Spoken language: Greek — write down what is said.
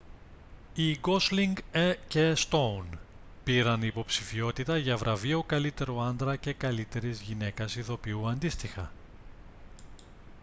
οι γκόσλινγκ και στόουν πήραν υποψηφιότητα για βραβείο καλύτερου άντρα και καλύτερης γυναίκας ηθοποιού αντίστοιχα